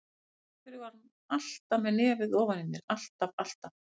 Af hverju var hún alltaf með nefið ofan í mér, alltaf, alltaf.